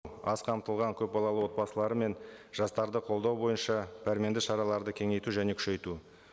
аз қамтылған көпбалалы отбасылары мен жастарды қолдау бойынша пәрменді шараларды кеңейту және күшейту